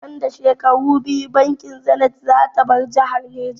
Nan da shekaru biyu bankin zanith zata bar jihar Neja